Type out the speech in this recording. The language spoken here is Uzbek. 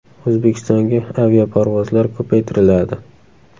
O‘zbekistonga aviaparvozlar ko‘paytiriladi.